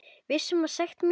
Viss um sekt mína.